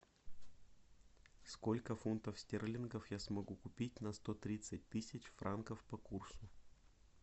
сколько фунтов стерлингов я смогу купить на сто тридцать тысяч франков по курсу